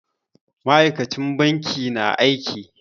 Ma'aikacin bankin na aiki.